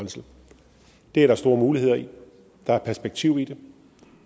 det er der store muligheder i der er perspektiv i